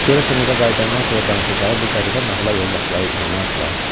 Görəsən evə qayıdandan sonra danışacağı bu qəribə nağıla yoldaşları inanardılar?